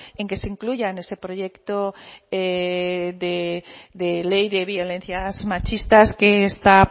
en que se incluya en ese proyecto de ley de violencia machistas que está